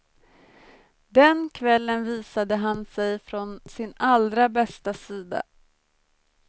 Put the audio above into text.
Den kvällen visade han sig från sin allra bästa sida.